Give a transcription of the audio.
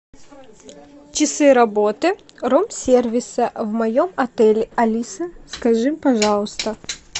часы работы рум сервиса в моем отеле алиса скажи пожалуйста